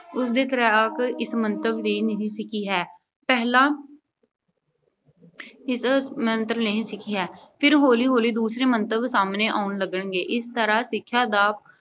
ਉਸਨੇ ਤੈਰਾਕੀ ਇਸ ਮੰਤਵ ਲਈ ਨਹੀਂ ਸਿੱਖੀ ਹੈ। ਪਹਿਲਾਂ ਇਸ ਮੰਤਵ ਲਈ ਨਹੀਂ ਸਿੱਖੀ ਹੈ। ਫਿਰ ਹੌਲੀ-ਹੌਲੀ ਦੂਸਰੇ ਮੰਤਵ ਸਾਹਮਣੇ ਆਉਣ ਲੱਗਣਗੇ, ਇਸ ਤਰ੍ਹਾਂ ਸਿੱਖਿਆ ਦਾ